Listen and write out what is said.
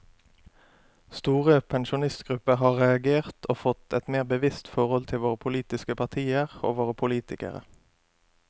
Store pensjonistgrupper har reagert og fått et mer bevisst forhold til våre politiske partier og våre politikere.